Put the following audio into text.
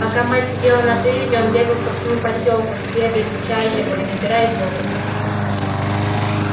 пока мать сидела на привязи он бегал по всему посёлку исследуя изучая его и набираясь опыта